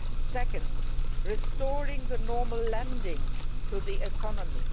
second, restoring normal lending to the economy